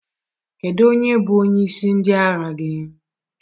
Kedu onye bụ onyeisi ndị agha gị?